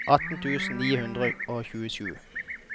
atten tusen ni hundre og tjuesju